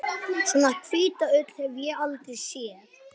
Svona hvíta ull hef ég aldrei séð.